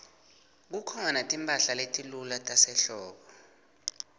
kukhona timphahla letilula tasehlobo